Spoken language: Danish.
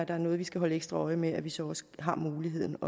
er noget vi skal holde ekstra øje med at vi så også har muligheden